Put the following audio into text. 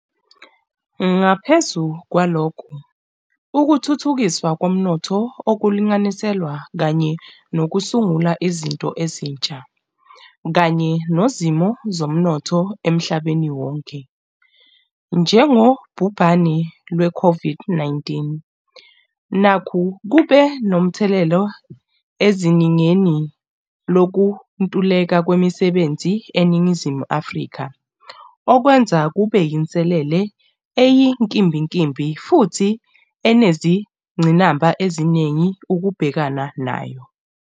Ngaphezu kwalokho, ukuthuthukiswa komnotho okulinganiselwa kanye nokusungula izinto ezintsha, kanye nozimo zomnotho emhlabeni wonke, njengobhubhane lwe COVID-19, nakhu kube nomthelela ezingeni lokuntuleka kwemisebenzi e Ningizimu Afrika, okwenza kube yinselelele eyinkimbinkimbi futhi enezingqinamba eziningi ukubhekana nayo.